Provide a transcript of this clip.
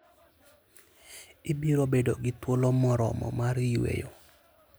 Ibiro bedo gi thuolo moromo mar yueyo.